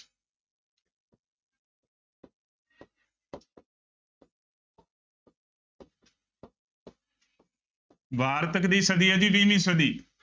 ਵਾਰਤਕ ਦੀ ਸਦੀ ਹੈ ਜੀ ਵੀਹਵੀਂ ਸਦੀ